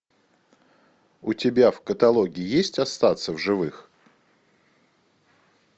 у тебя в каталоге есть остаться в живых